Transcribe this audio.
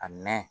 A mɛn